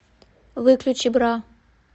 выключи бра